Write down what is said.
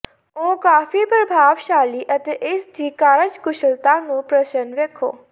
ਉਹ ਕਾਫ਼ੀ ਪ੍ਰਭਾਵਸ਼ਾਲੀ ਅਤੇ ਇਸ ਦੀ ਕਾਰਜਕੁਸ਼ਲਤਾ ਨੂੰ ਪ੍ਰਸੰਨ ਵੇਖੋ